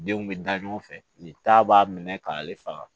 Denw bɛ da ɲɔgɔn fɛ nin ta b'a minɛ k'ale faga